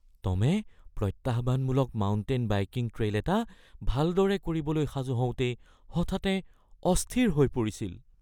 টমে প্ৰত্যাহ্বানমূলক mountain biking trail এটা ভালদৰে কৰিবলৈ সাজু হওঁতেই হঠাতে অস্থিৰ হৈ পৰিছিল